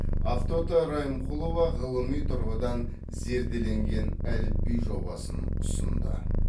ақтоты райымқұлова ғылыми тұрғыдан зерделенген әліпби жобасын ұсынды